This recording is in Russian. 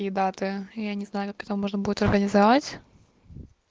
и даты я не знаю как это можно будет организовать